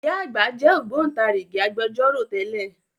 Ìyá àgbà jẹ́ Ògbóntarìgì Agbẹjọ́rò tẹ́lẹ̀